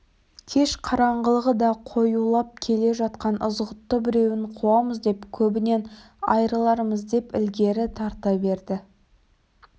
кеш қараңғылығы да қоюлап келе жатқан ызғұтты біреуін қуамыз деп көбінен айрылармыз деп ілгері тарта берді